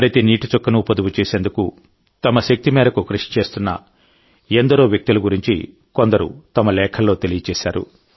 ప్రతి నీటి చుక్కను పొదుపు చేసేందుకు తమ శక్తిమేరకు కృషి చేస్తున్న ఎందరో వ్యక్తుల గురించి కొందరు తమ లేఖల్లో తెలియజేశారు